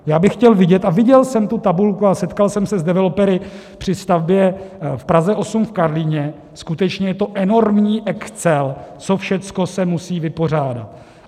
Já bych chtěl vidět, a viděl jsem tu tabulku a setkal jsem se s developery při stavbě v Praze 8 v Karlíně, skutečně je to enormní excel, co všechno se musí vypořádat.